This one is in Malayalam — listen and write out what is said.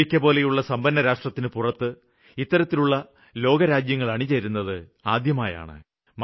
അമേരിക്കപോലുള്ള സമ്പന്നരാഷ്ട്രത്തിനു പുറത്ത് ഇത്തരത്തിലുള്ള ലോകരാജ്യങ്ങള് അണിചേരുന്നത് ആദ്യമാണ്